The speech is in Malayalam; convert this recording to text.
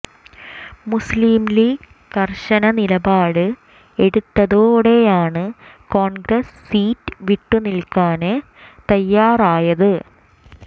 മുസ്ലീം ലീഗ് കര്ശന നിലപാട് എടുത്തതോടെയാണ് കോണ്ഗ്രസ് സീറ്റ് വിട്ടു നല്കാന് തയാറായത്